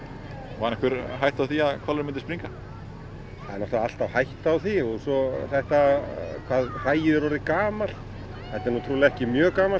var einhver hætta á því að hvalurinn myndi springa það er náttúrulega alltaf hætta á því og svo þetta hvað hræið er orðið gamalt þetta er náttúrulega ekki mjög gamalt